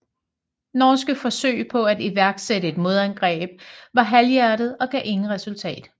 Norske forsøg på at iværksætte et modangreb var halvhjertede og gav ingen resultat